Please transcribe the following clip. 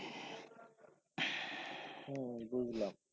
হ্যাঁ হ্যাঁ বুজলাম